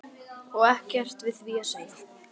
Og ekkert við því að segja.